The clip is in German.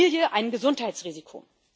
Familie ein Gesundheitsrisiko.